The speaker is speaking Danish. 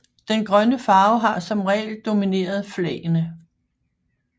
Den grønne farve har som regel domineret flagene